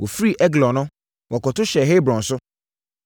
Wɔfiri Eglon no, wɔkɔto hyɛɛ Hebron so,